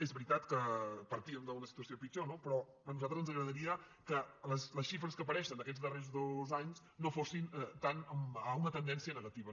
és veritat que partíem d’una situació pitjor no però a nosaltres ens agradaria que les xifres que apareixen d’aquests darrers dos anys no fossin tant cap a una tendència negativa